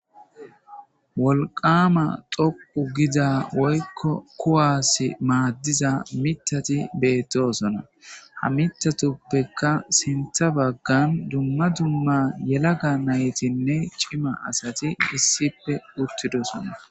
wolqama xoqu giza woykko kuwaas maaddiza mithati beettosona ha mithatuppeka sintha baggan dumma dumma yelaga naytinne cima asati dissippe uttidosona